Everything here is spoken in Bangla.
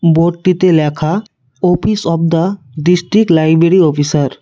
বোর্ডটিতে লেখা office of the district library officer.